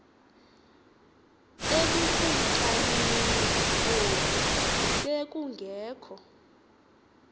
ebukumkanini obu bekungekho